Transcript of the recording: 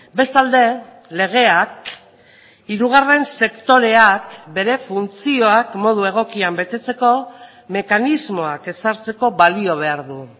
bestalde legeak hirugarren sektoreak bere funtzioak modu egokian betetzeko mekanismoak ezartzeko balio behar du